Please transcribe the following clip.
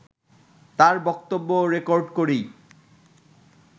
তাঁর বক্তব্য রেকর্ড করি